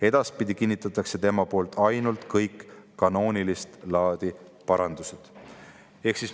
Edaspidi kinnitatakse tema poolt ainult kõik kanoonilist laadi parandused.